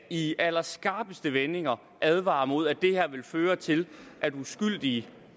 i allerskarpeste vendinger advarer mod at det her vil føre til at uskyldige